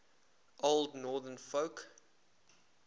old northern folk